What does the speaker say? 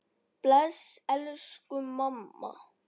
Bless elsku amma.